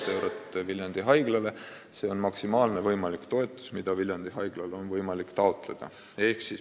16 miljonit eurot on maksimaalne võimalik summa, mida Viljandi Haiglal on võimalik taotleda.